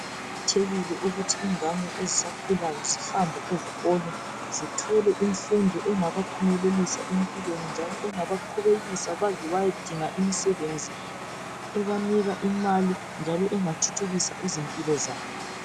Kuqakathekile ukuthi ingane ezisakhulayo zihambe ezikolo. Zithole imfundo engabaphumelelisa empilweni Njalo engabaqhubekisa baze bayedinga imisebenzi ebanika imali njalo engathuthukisa impilo zabo.